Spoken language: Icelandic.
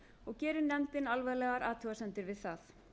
og gerir nefndin alvarlegar athugasemdir við það